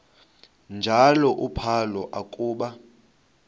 njalo uphalo akuba